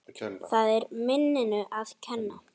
Það er minninu að kenna.